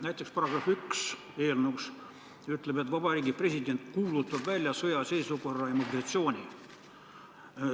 Näiteks on öeldud, et Vabariigi President kuulutab välja sõjaseisukorra ja mobilisatsiooni.